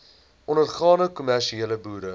ondergaande kommersiële boere